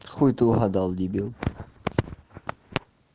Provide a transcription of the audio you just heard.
хуй ты угадал дебил